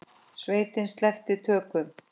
Sveitin sleppti tökum.